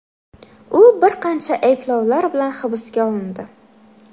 U bir qancha ayblovlar bilan hibsga olindi.